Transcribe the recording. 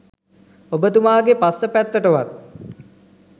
ඔබ තුමාගේ පස්ස පැත්තටවත්